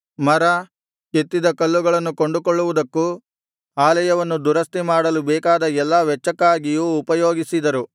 ಮರ ಕೆತ್ತಿದ ಕಲ್ಲುಗಳನ್ನು ಕೊಂಡುಕೊಳ್ಳುವುದಕ್ಕೂ ಆಲಯವನ್ನು ದುರಸ್ತಿ ಮಾಡಲು ಬೇಕಾದ ಎಲ್ಲಾ ವೆಚ್ಚಕ್ಕಾಗಿಯೂ ಉಪಯೋಗಿಸಿದರು